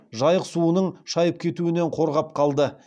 жайық суының шайып кетуінен қорғап қалды